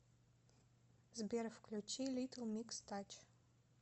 сбер включи литл микс тач